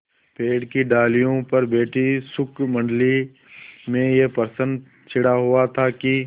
पेड़ की डालियों पर बैठी शुकमंडली में यह प्रश्न छिड़ा हुआ था कि